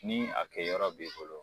Min a kɛ yɔrɔ b'i bolo